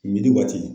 waati